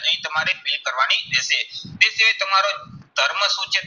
અહીં તમારે fill કરવાની રહેશે. તે સિવાય તમારો ધર્મ શું છે,